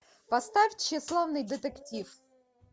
поставь тщеславный детектив